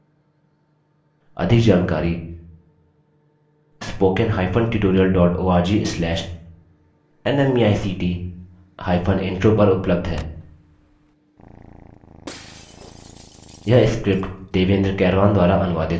अधिक जानकारी spoken hyphen tutorial dot org slash nmeict hyphen intro पर उपलब्ध है